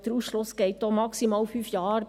Der Ausschluss dauert auch maximal fünf Jahre.